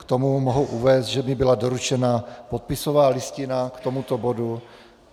K tomu mohu uvést, že mi byla doručena podpisová listina k tomuto bodu.